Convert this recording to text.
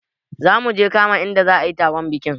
Zamuje mu kama inda za ayi taron bikin